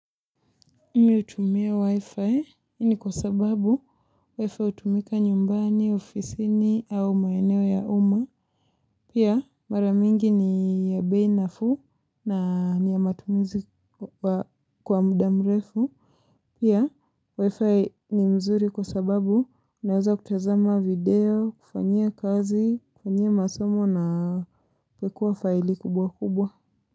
Mimi utumia wi-fi, hii ni kwa sababu wi-fi utumika nyumbani, ofisini, au maeneo ya uma. Pia maramingi ni ya bei nafuu na niya matumizi kwa mdamrefu. Pia wi-fi ni nzuri kwa sababu unaweza kutazama video, kufanyia kazi, kufanyia masomo na kuwekwa faili kubwa kubwa.